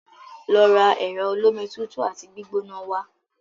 Lọ ra ẹ̀rọ olómi tutù àti gbígbóná wá!